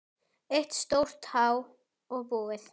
Eitt stórt há og búið.